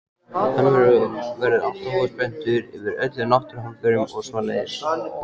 Hann verður alltaf voða spenntur yfir öllum náttúruhamförum og svoleiðis.